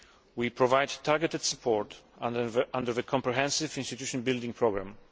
We provide targeted support under the comprehensive institution building programme.